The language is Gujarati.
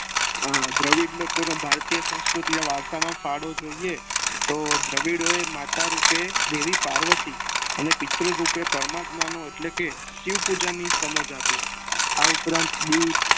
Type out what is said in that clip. હા દવીડ લોકો નું ભારતીય સંસ્કૃતિ માં વારસામાં ફાળો જોઈએ તો દવીડો એ માતા રૂપે દેવી પાર્વતી અને પિતૃ રૂપે પરમાત્મા નો એટલે કે શિવ પૂજન ની સમજ આપી આ ઉપરાંત દીવ